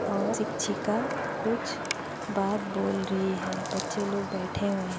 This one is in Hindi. और शिक्षिका कुछ बात बोल रही है बच्चे लोग बैठे हुए हैं।